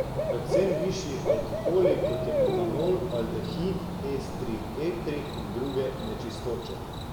Predvsem višji alkoholi, kot je metanol, aldehidi, estri, etri in druge nečistoče.